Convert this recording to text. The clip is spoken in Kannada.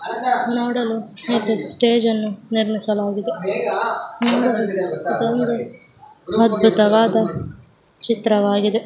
ನೋಡಲು ಇಲ್ಲಿ ನಿರ್ಮಿಸಲಾಗಿದೆ. ಅದ್ಭುತವಾದ ಚಿತ್ರ ವಾಗಿದೆ.